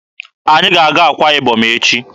Anyị ga-aga Akwa Ibom echi.